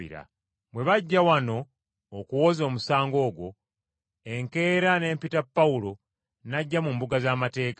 Bwe bajja wano okuwoza omusango ogwo, enkeera ne mpita Pawulo n’ajja mu mbuga z’amateeka.